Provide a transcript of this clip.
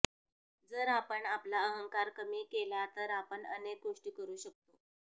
जर आपण आपला अहंकार कमी केला तर आपण अनेक गोष्टी करु शकतो